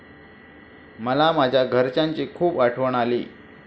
मला माझ्या घरच्यांची खूप आठवण आली.